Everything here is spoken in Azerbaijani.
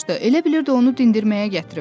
Elə bilirdi onu dindirməyə gətiriblər.